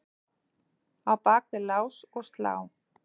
Á bak við lás og slá?